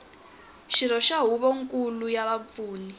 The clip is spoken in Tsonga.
xirho xa huvonkulu ya vapfuni